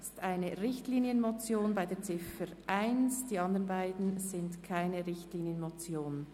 Bei Ziffer 1 handelt es sich um eine Richtlinienmotion, die andern beiden Ziffern sind keine Richtlinienmotionen.